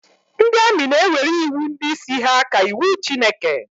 Ndị amị na-ewere iwu ndị isi ha ka iwu Chineke